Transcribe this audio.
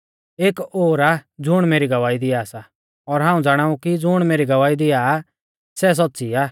एक ओर आ ज़ुण मेरी गवाही दिआ सा और हाऊं ज़ाणाऊ कि ज़ुण मेरी गवाही दिआ आ सै सौच़्च़ी आ